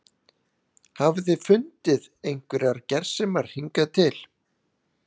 Hafið þið fundið einhverjar gersemar hingað til?